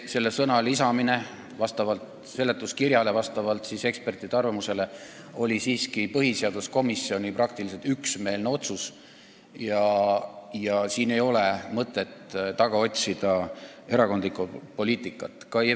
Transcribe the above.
Selle sõna lisamine vastavalt seletuskirjale ja ekspertide arvamusele oli siiski põhiseaduskomisjoni praktiliselt üksmeelne otsus – siin ei ole mõtet erakondlikku poliitikat taga otsida.